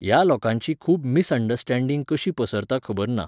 ह्या लोकांची खूब मिसअंडस्टेंडींग कशी पसरता खबर ना